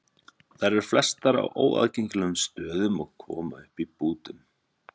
Þær eru flestar á óaðgengilegum stöðum og koma upp í bútum.